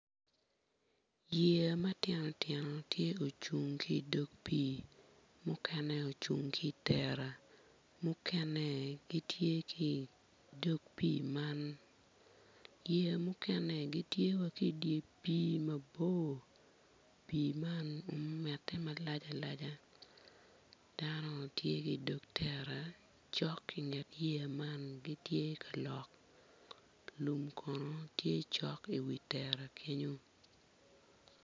Yeya matino tino tye ocung ki idog pii mukene ocung ki i tera mukene gitye ki idog pii man yeya mukene gitye wa ki i dye pii mabor pii man omete malac alaja dano tye ki i dog tere cok ki nget yeya man gitye ka lok lum kono tye cok i wi tera kenyo